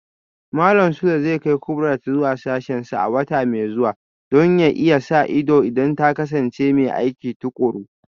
Malam Sule zai kai Kubrat zuwa sashensa a wata mai zuwa Don ya iya sa ido idan ta kasance mai aiki tukuru